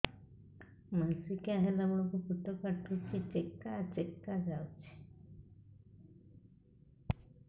ମାସିକିଆ ହେଲା ବେଳକୁ ପେଟ କାଟୁଚି ଚେକା ଚେକା ଯାଉଚି